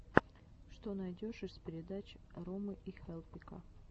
что найдешь из передач ромы и хелпика